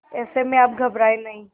ऐसे में आप घबराएं नहीं